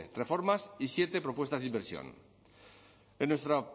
reformas y siete propuestas de inversión en nuestra